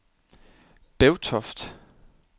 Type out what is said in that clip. Bevtoft